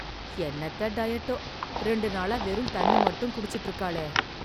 என்னத்த டயட்டோ... ரெண்டு நாளா வெறும் தண்ணி மட்டும் குடிச்சுட்டு இருக்காளே...